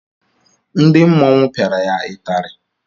Ndị mmọnwu piara ya ịtari.